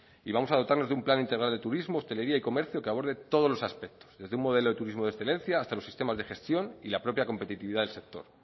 y vamos a dotarnos de un plan integral de turismo hostelería y comercio que aborde los aspectos desde un modelo de turismo de excelencia hasta los sistemas de gestión y la propia competitividad del sector